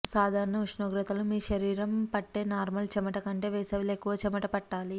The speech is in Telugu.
సాధారణ ఉష్ణోగ్రతలో మీ శరీరం పట్టే నార్మల్ చెమట కంటే వేసవిలో ఎక్కువ చెమటపట్టాలి